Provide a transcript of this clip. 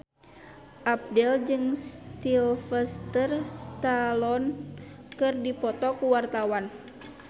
Abdel jeung Sylvester Stallone keur dipoto ku wartawan